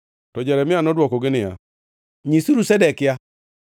To Jeremia nodwokogi niya, “Nyisuru Zedekia,